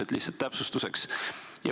See oli lihtsalt täpsustuseks.